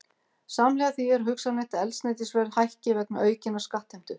Samhliða því er hugsanlegt að eldsneytisverð hækki vegna aukinnar skattheimtu.